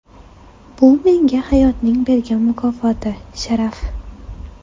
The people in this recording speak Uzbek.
Bu menga hayotning bergan mukofoti, sharaf.